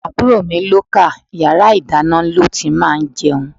Àbúrò mi luko, yàrá ìdáná ni ó ti máa ń jẹun.